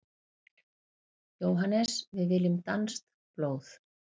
JÓHANNES: Við viljum danskt blóð!